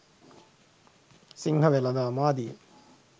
සිංහ වෙළෙඳාම් ආදියෙන්